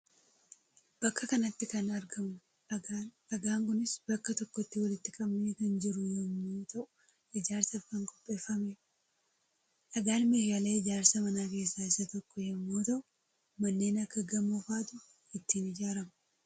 Bakka kanatti kan argamu dhagaadha. Dhagaan kunis bakka tokkotti walitti qabamee kan jiruu yommuu ta'u ijaarsaaf kan qopheeffamedha. Dhagaan meeshaalee ijaarsa manaa keessaa isa tokkoo yommuu ta'u manneen akka gamoo fa'aatu ittiin ijaarama.